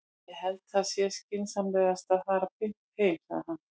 Ég held að það sé skynsamlegast að fara beint heim, sagði hann.